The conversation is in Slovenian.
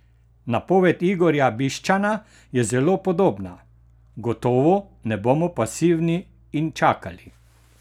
Napoved Igorja Bišćana je zelo podobna: "Gotovo ne bomo pasivni in čakali.